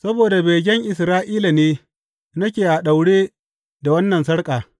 Saboda begen Isra’ila ne, nake a daure da wannan sarƙa.